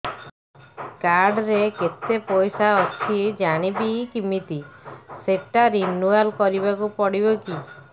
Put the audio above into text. card ରେ କେତେ ପଇସା ଅଛି ଜାଣିବି କିମିତି ସେଟା ରିନୁଆଲ କରିବାକୁ ପଡ଼ିବ କି